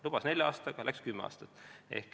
Lubati nelja aastaga, läks kümme aastat.